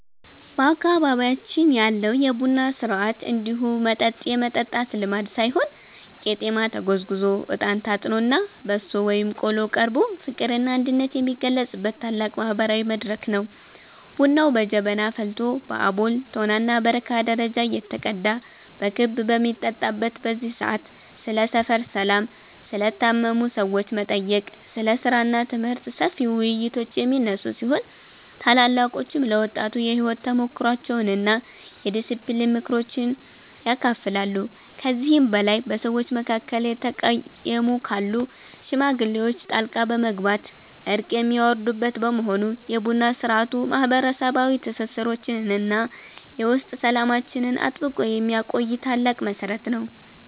በአካባቢያችን ያለው የቡና ሥርዓት እንዲሁ መጠጥ የመጠጣት ልማድ ሳይሆን ቄጤማ ተጎዝጉዞ፣ እጣን ታጥኖና በሶ ወይም ቆሎ ቀርቦ ፍቅርና አንድነት የሚገለጽበት ታላቅ ማህበራዊ መድረክ ነው። ቡናው በጀበና ፈልቶ በአቦል፣ ቶናና በረካ ደረጃ እየተቀዳ በክብ በሚጠጣበት በዚህ ሰዓት፣ ስለ ሰፈር ሰላም፣ ስለ ታመሙ ሰዎች መጠየቅ፣ ስለ ሥራና ትምህርት ሰፊ ውይይቶች የሚነሱ ሲሆን፣ ታላላቆችም ለወጣቱ የሕይወት ተሞክሯቸውንና የዲስፕሊን ምክሮችን ያካፍላሉ። ከዚህም በላይ በሰዎች መካከል የተቀየሙ ካሉ ሽማግሌዎች ጣልቃ በመግባት እርቅ የሚያወርዱበት በመሆኑ፣ የቡና ሥርዓቱ ማህበረሰባዊ ትስስራችንንና የውስጥ ሰላማችንን አጥብቆ የሚያቆይ ታላቅ መሠረት ነው።